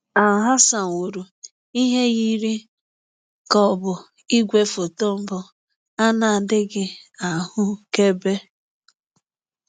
Alhazen wuru ihe yiri ka ọ bụ igwefoto mbụ a na-adịghị ahụkebe